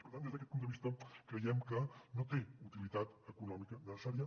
per tant des d’aquest punt de vista creiem que no té utilitat econòmica necessària